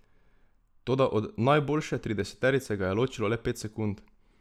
Toda od najboljše trideseterice ga je ločilo le pet sekund ...